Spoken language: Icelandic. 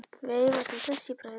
Veifar því hress í bragði.